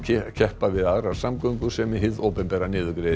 keppa við aðrar samgöngur sem hið opinbera niðurgreiði